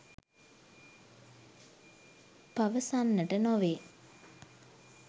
පවසන්නට නොවේ.